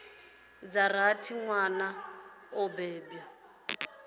dza rathi nwana o bebwa